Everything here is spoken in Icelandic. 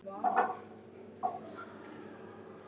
Klukkan hálf fimm